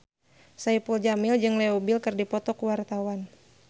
Saipul Jamil jeung Leo Bill keur dipoto ku wartawan